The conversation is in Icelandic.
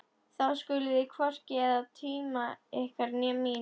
Þá skuluð þið hvorki eyða tíma ykkar né mínum.